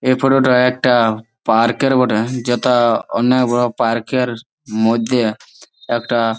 এই ফটো -টা একটা পার্ক -র বটে যেটা অনেক বড়ো পার্ক -র মধ্যে একটা--